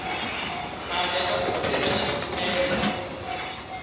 khale aku tirha xitimela